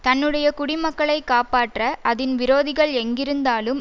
தன்னுடைய குடிமக்களை காப்பாற்ற அதின் விரோதிகள் எங்கிருந்தாலும்